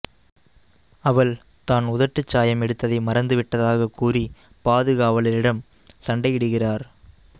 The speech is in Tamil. அவள் தான் உதட்டுச்சாயம் எடுத்ததை மறந்து விட்டதாகக் கூறி பாதுகாவலரிடம் சண்டையிடுகிறார்